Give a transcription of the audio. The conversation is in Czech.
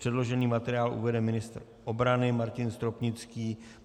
Předložený materiál uvede ministr obrany Martin Stropnický.